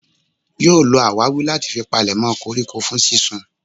Yóò lo àwárí láti fi palèmọ́ koríko fún sínsun.